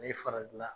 A ye fara dila